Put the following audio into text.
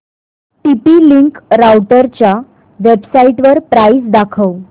TP link राउटरच्या वेबसाइटवर price दाखव